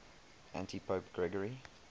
antipope gregory